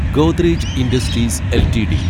Godrej Industries LTD